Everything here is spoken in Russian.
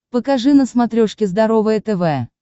покажи на смотрешке здоровое тв